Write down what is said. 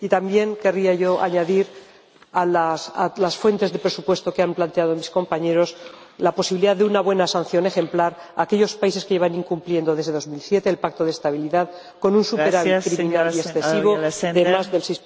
Y también querría yo añadir a las fuentes de presupuesto, que han planteado mis compañeros, la posibilidad de una buena sanción ejemplar a aquellos países que llevan incumpliendo desde 2007 el Pacto de Estabilidad con un superávit criminal y excesivo de más del